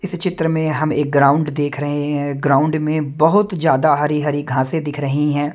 इस चित्र में हम एक ग्राउंड देख रहे हैं ग्राउंड में बहुत ज्यादा हरी हरी घासे दिख रही है।